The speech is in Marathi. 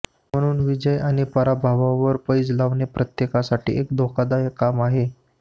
म्हणून विजय आणि पराभवावर पैज लावणे प्रत्येकासाठी एक धोकादायक काम आहे